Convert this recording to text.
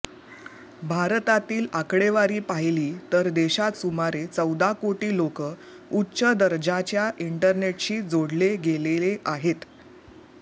भारतातील आकडेवारी पाहिली तर देशात सुमारे चौदा कोटी लोक उच्च दर्जाच्या इंटरनेटशी जोडले गेलेले आहेत